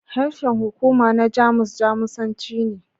Harshen hukuma na Jamus Jamusanci ne.